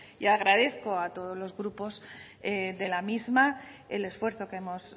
y agradezco a todos los grupos de la misma el esfuerzo que hemos